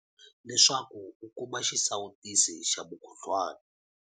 Leswaku u kuma xisawutisi xa mukhuhlwana.